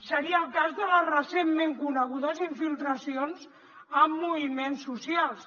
seria el cas de les recentment conegudes infiltracions a moviments socials